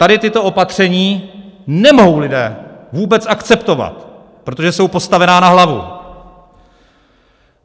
Tady tato opatření nemohou lidé vůbec akceptovat, protože jsou postavená na hlavu.